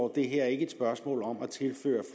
det her er et spørgsmål om at tilføre